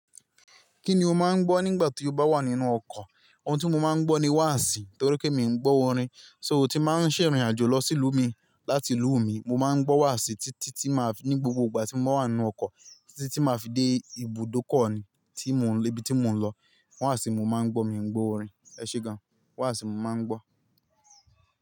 Kí ni o máa ń gbọ́ nígbà tí o bá wà nínú ọkọ̀? Òun tí mo máa ń gbọ́ ni wàsì torí pé mi ò ń gbọ́ orin. So tí màá ń ṣe ìrìn àjò lọ sí ìlú mi láti ìlú mi, mo máa ń gbọ́ wàsì títí tí màá ní gbogbo ìgbà tí mo wà nínú ọkọ̀ títí tí màá fi dé ibùdókọ̀ ni tí mo níbi tí mo ń lọ. Wàsì ni mo máa ń gbọ́, mi ò ń gbọ́ orin. Ẹ̀ṣé gan, wàsì ni mo máa ń gbọ́.